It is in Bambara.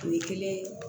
O ye kelen ye